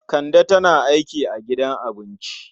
Kande tana aiki a gidan abinci.